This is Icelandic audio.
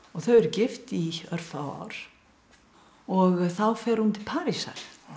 þau eru gift í örfá ár og þá fer hún til Parísar